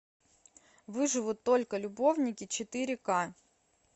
выживут только любовники четыре ка